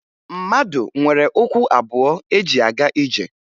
Mmadụ nwere ụkwụ abụọ eji aga ije